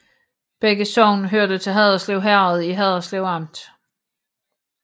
Begge sogne hørte til Haderslev Herred i Haderslev Amt